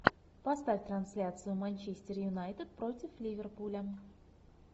поставь трансляцию манчестер юнайтед против ливерпуля